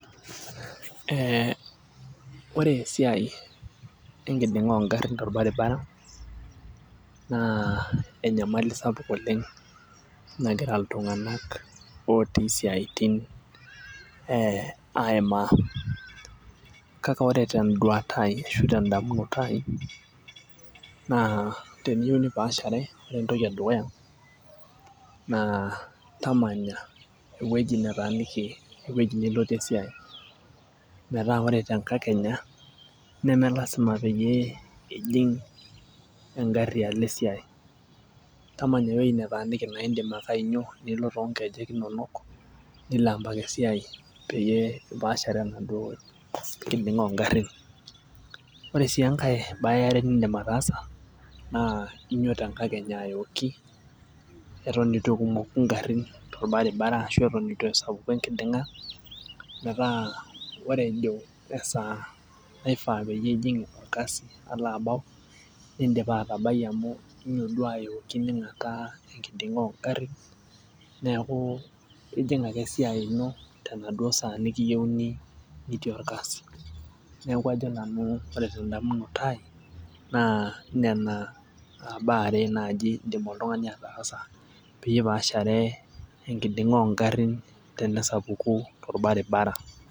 Eh ore esiai enkiding'a ongarrin torbaribara naa enyamali sapuk oleng' nagira iltung'anak otii isiaitin eh aimaa kake ore tenduata ai ashu tendamunoto ai naa teniyieu nipaashare naa ore entoki edukuya naa tamanya ewueji netaaniki ewueji nilotie esiai metaa ore tenkakenya neme lasima peyie ijing' engarri alo esiai tamanya ewueji netaniki naindim ake ainyio nilo tonkejek inonok nilo ampaka esiai peyie ipaashare enaduo kiding'a ongarrin ore sii enkae baye eare nindim ataasa naa inyio tenkakenya ayooki eton itu ekumoku ingarrin torbaribara ashu eton etu esapuku enkiding'a metaa ore ejo esaa naifaa peyie ijing' orkasi alo abau nindipa atabai amu inyio duo ayooki ning'ataa enkiding'a ongarrin neeku ijing' ake esiai ino tenaduo saa nikiyieuni nitii orkasi neku ajo nanu ore tendamunoto ai naa nena uh baa are naaji indim oltung'ani ataasa peyie ipaashare enkiding'a ongarrin tenesapuku torbaribara.